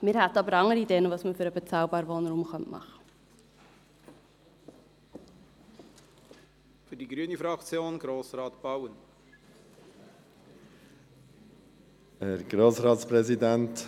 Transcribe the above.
Wir hätten aber durchaus andere Ideen, was man für den bezahlbaren Wohnraum tun könnte.